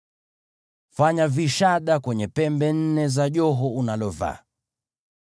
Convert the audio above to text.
Fanya vishada kwenye pembe nne za joho unalovaa.